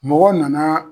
Mɔgɔ nana